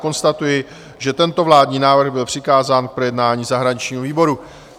Konstatuji, že tento vládní návrh byl přikázán k projednání zahraničnímu výboru.